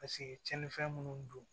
Paseke tiɲɛnifɛn minnu don